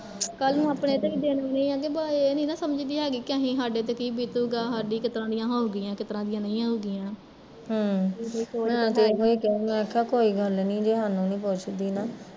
ਕੱਲ ਨੂੰ ਅਪਣੇ ਤੇ ਵੀ ਦਿਨ ਆਣੈ ਐ ਕਿ ਵਾ ਏਹ ਨੀ ਨਾ ਸਮਜਦੀ ਹੈਗੀ ਵੀ ਅਸੀਂ ਸਾਡੇ ਤੇ ਕੀ ਬੀਤੂਗਾ, ਸਾਡੀ ਕਿਸ ਤਰਾਂ ਦੀਆ ਹਊਗੀਆ ਕਿਸ ਤਰਾਂ ਦੀਆ ਨਹੀਂ ਆਊਗੀਆ ਹਮ